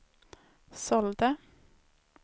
sålde